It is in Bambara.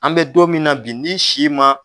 An be don min na bin n'i si ma